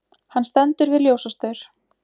Hann stendur við ljósastaur.